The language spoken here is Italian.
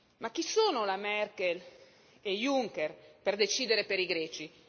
Ma chi sono la Merkel e Juncker per decidere per i greci?